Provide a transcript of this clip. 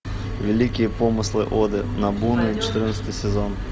великие помыслы оды нобуны четырнадцатый сезон